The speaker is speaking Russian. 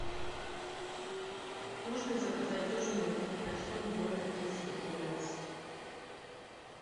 можно заказать ужин на двух персон в номер триста двенадцать